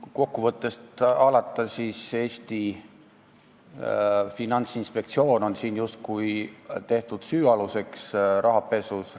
Kui kokkuvõttest alata, siis Eesti Finantsinspektsioon on justkui tehtud süüaluseks rahapesus.